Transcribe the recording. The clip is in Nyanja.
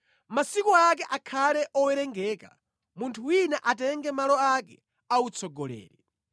Masiku ake akhale owerengeka; munthu wina atenge malo ake a utsogoleri.